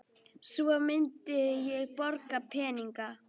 Svo myndi ég borga peninga